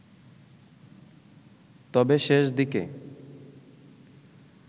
তবে শেষ দিকে